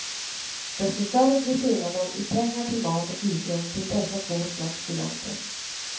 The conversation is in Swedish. Desto större blir skillnaden i pengar till mat och husrum till dessa två slags studenter.